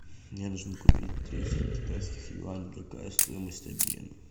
мне нужно купить триста китайских юаней какая стоимость обмена